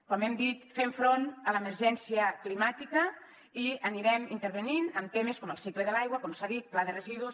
com hem dit fem front a l’emergència climàtica i anirem intervenint en temes com el cicle de l’aigua com s’ha dit pla de residus